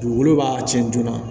Dugukolo b'a cɛn joona